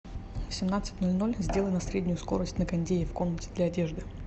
в семнадцать ноль ноль сделай на среднюю скорость на кондее в комнате для одежды